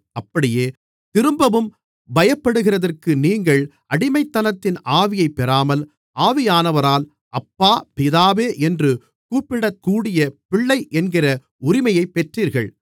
அப்படியே திரும்பவும் பயப்படுகிறதற்கு நீங்கள் அடிமைத்தனத்தின் ஆவியைப் பெறாமல் ஆவியானவரால் அப்பா பிதாவே என்று கூப்பிடக்கூடிய பிள்ளை என்கிற உரிமையைப் பெற்றீர்கள்